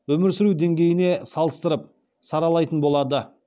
өмір сүру деңгейіне салыстырып саралайтын болады